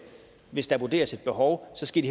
hvis der vurderes et behov skal